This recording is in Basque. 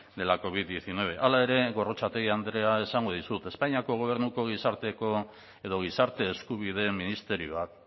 de la covid hemeretzi hala ere gorrotxategi andrea esango dizut espainiako gobernuko gizarteko edo gizarte eskubideen ministerioak